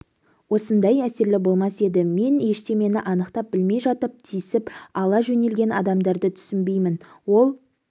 осындай әсерлі болмас еді мен ештемені анықтап білмей жатып тисіп ала жөнелген адамдарды түсінбеймін ол